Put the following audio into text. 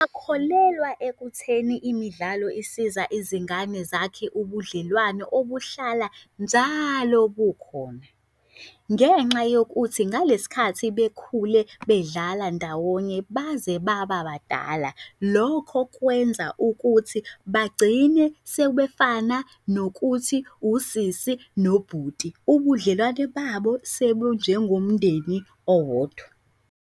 Kholelwa ekutheni imidlalo isiza izingane zakhe ubudlelwane obuhlala njalo bukhona. Ngenxa yokuthi ngalesikhathi bekhule bedlala ndawonye baze baba badala, lokho kwenza ukuthi bagcine sebefana nokuthi usisi nobhuti, ubudlelwane babo sebunjengomndeni owodwa.